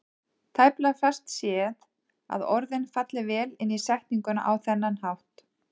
Tæplega fæst séð að orðin falli vel inn í setninguna á þennan hátt.